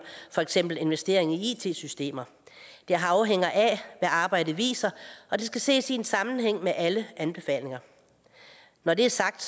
for eksempel investeringer i it systemer det afhænger af hvad arbejdet viser og det skal ses i en sammenhæng med alle anbefalinger når det er sagt